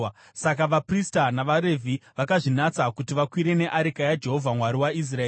Saka vaprista navaRevhi vakazvinatsa kuti vakwire neareka yaJehovha Mwari waIsraeri.